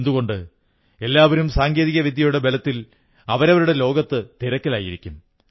എന്തുകൊണ്ട് എല്ലാവരും സാങ്കേതിക വിദ്യയുടെ ബലത്തിൽ അവരുടെ ലോകത്ത് തിരക്കിലായിരിക്കും